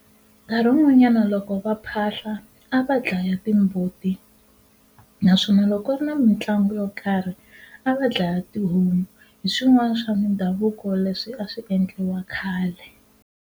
Nkarhi wun'wanyana loko va phahla a va dlaya timbuti naswona loko ku ri na mitlangu yo karhi a va dlaya tihomu hi swin'wana swa mindhavuko leswi a swi endliwa khale.